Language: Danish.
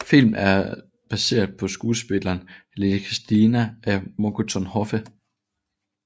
Filmen er baseret på skuespillet Lady Cristilinda af Monckton Hoffe